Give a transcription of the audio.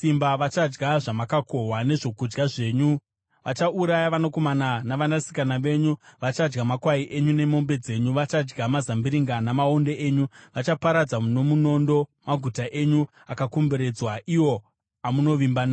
Vachadya zvamakakohwa nezvokudya zvenyu, vachauraya vanakomana navanasikana venyu; vachadya makwai enyu nemombe dzenyu, vachadya mazambiringa namaonde enyu. Vachaparadza nomunondo, maguta enyu akakomberedzwa iwo amunovimba nawo.